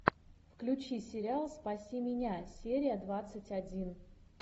включи сериал спаси меня серия двадцать один